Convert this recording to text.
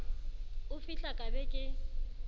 o fihla ka be ke